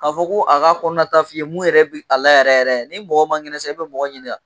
K'a fɔ ko a ka kɔnɔnata f'i ye mun yɛrɛ bɛ a la yɛrɛ yɛrɛ, ni mɔgɔ man kɛnɛ sisan i bɛ mɔgɔ ɲini wa?